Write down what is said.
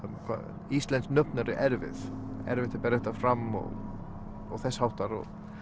hvað íslensk nöfn eru erfið erfitt að bera þetta fram og þess háttar